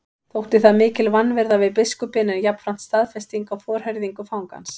Þótti það mikil vanvirða við biskupinn en jafnframt staðfesting á forherðingu fangans.